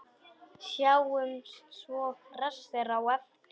Sjáumst svo hressir á eftir.